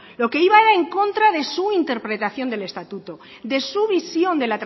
lo que iba era en contra de su interpretación del estatuto de su visión